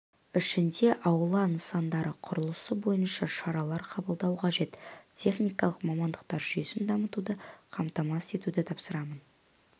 ішінде аула нысандары құрылысы бойынша шаралар қабылдау қажет техникалық мамандықтар жүйесін дамытуды қамтамасыз етуді тапсырамын